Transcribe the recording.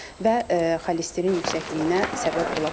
Və xolesterin yüksəkliyinə səbəb ola bilir.